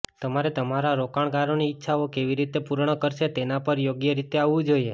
તમારે તમારા રોકાણકારોની ઇચ્છાઓ કેવી રીતે પૂર્ણ કરશે તેના પર યોગ્ય રીતે આવવું જોઈએ